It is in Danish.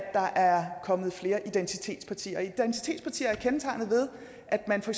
der er kommet flere identitetspartier og identitetspartier er kendetegnet ved at man for